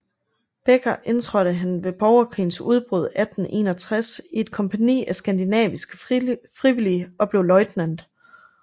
Beecher indtrådte han ved borgerkrigens udbrud 1861 i et kompagni af skandinaviske frivillige og blev løjtnant